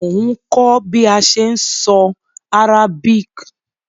Mo n kó bi a se n so Arabic